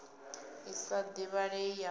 i sa divhalei ya u